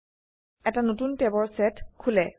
এটা নতুন ট্যাবৰ সেত খোলে